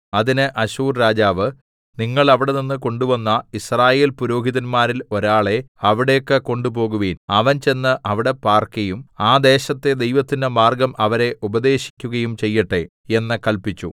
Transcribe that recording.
അതിന് അശ്ശൂർ രാജാവ് നിങ്ങൾ അവിടെനിന്ന് കൊണ്ടുവന്ന യിസ്രായേൽപുരോഹിതന്മാരിൽ ഒരാളെ അവിടേക്ക് കൊണ്ടുപോകുവിൻ അവൻ ചെന്ന് അവിടെ പാർക്കയും ആ ദേശത്തെ ദൈവത്തിന്റെ മാർഗ്ഗം അവരെ ഉപദേശിക്കുകയും ചെയ്യട്ടെ എന്ന് കല്പിച്ചു